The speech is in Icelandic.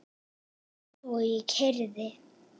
Svo ég keyrði.